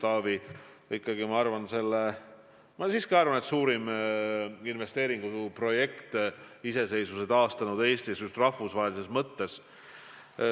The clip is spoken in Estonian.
Samas ma arvan, et see on suurim investeeringuprojekt iseseisvuse taastanud Eestis, just rahvusvahelises mõttes.